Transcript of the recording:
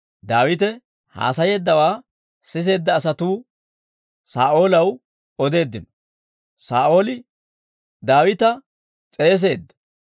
Daawite haasayeeddawaa siseedda asatuu Saa'oolaw odeeddino; Saa'ooli Daawita s'eesisseedda.